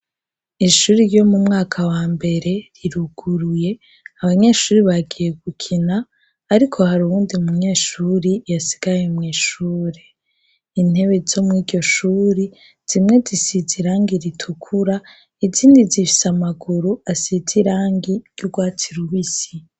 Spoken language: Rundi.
ishuri ryo mu mwaka wa mbere riruguruye abanyeshuri bagiye gukina ariko hari ubundi mu nyeshuri yasigaye muishure intebe zo mu'iryoshuri zimwe zisize irangi ritukura izindi zifise amaguru asize irangi ry'ugwatsi rubisi